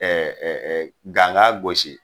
ganga gosi